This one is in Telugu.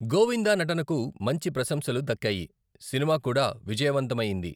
గోవిందా నటనకు మంచి ప్రశంసలు దక్కాయి, సినిమా కూడా విజయవంతమైయింది